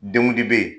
Denw de bɛ ye